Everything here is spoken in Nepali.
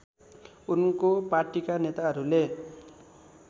उनको पार्टीका नेताहरूले